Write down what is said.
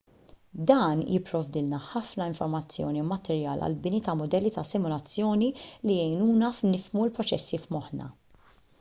dan jipprovdilna ħafna informazzjoni u materjal għall-bini ta' mudelli ta' simulazzjoni li jgħinuna nifhmu l-proċessi f'moħħna